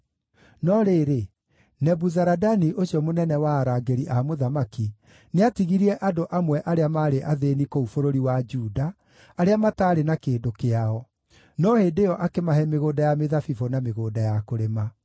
No rĩrĩ, Nebuzaradani ũcio mũnene wa arangĩri a mũthamaki, nĩatigirie andũ amwe arĩa maarĩ athĩĩni kũu bũrũri wa Juda, arĩa mataarĩ na kĩndũ kĩao; no hĩndĩ ĩyo akĩmahe mĩgũnda ya mĩthabibũ na mĩgũnda ya kũrĩma.